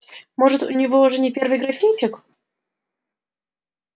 может у него уже не первый графинчик